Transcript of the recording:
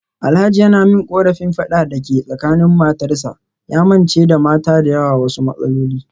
Alhaji yana min korafin fadan da ke tsakanin matarsa, ya mance da mata da yawa wasu matsaloli.